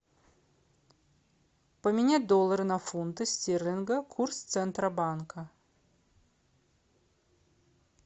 поменять доллары на фунты стерлинга курс центробанка